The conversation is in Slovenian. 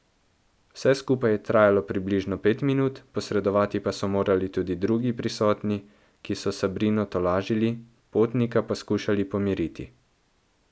Vse skupaj je trajalo približno pet minut, posredovati pa so morali tudi drugi prisotni, ki so Sabrino tolažili, potnika pa skušali pomiriti.